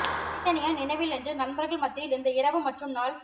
தனித்தனியாய் நினைவில் என்று நண்பர்கள் மத்தியில் இந்த இரவு மற்றும் நாள்